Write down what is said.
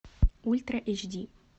ультра эйч ди